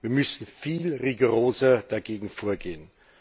Wir müssen viel rigoroser dagegen vorgehen.